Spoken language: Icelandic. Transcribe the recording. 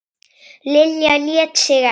Lilja lét sig ekki.